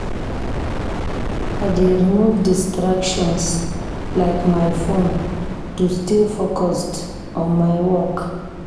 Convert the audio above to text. I dey remove distractions, like my phone, to stay focused on my work.